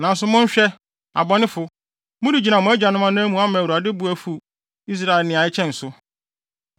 “Nanso monhwɛ, abɔnefo, moregyina mo agyanom anan mu ama Awurade bo afuw Israel nea ɛkyɛn so.